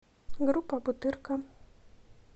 группа бутырка